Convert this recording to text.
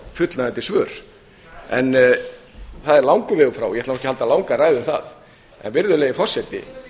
fullnægjandi svör en það er langur vegur frá ég ætla nú ekki að halda langa ræðu um það virðulegi forseti